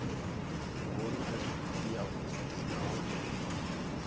vhonale i yavhuḓi nahone i